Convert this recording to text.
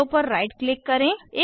arrow पर right click करें